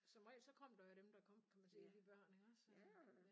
Som regel så kom der jo dem der kom kan man sige af de børn iggås